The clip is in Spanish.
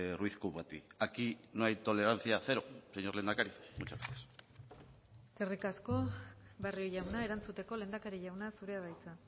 ruiz kubati aquí no hay tolerancia cero señor lehendakari muchas gracias eskerrik asko barrio jauna erantzuteko lehendakari jauna zurea da hitza